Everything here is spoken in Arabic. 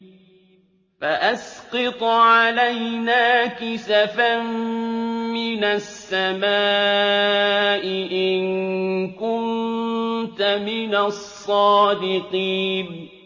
فَأَسْقِطْ عَلَيْنَا كِسَفًا مِّنَ السَّمَاءِ إِن كُنتَ مِنَ الصَّادِقِينَ